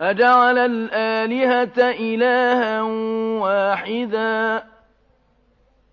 أَجَعَلَ الْآلِهَةَ إِلَٰهًا وَاحِدًا ۖ